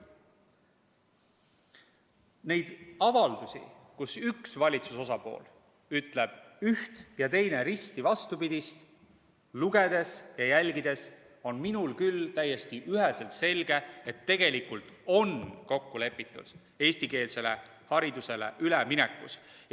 Neid avaldusi, kus üks valitsuse osapool ütleb üht ja teine risti vastupidist, lugedes ja jälgides on minule küll täiesti üheselt selge, et tegelikult on kokku lepitud eestikeelsele haridusele üleminekus.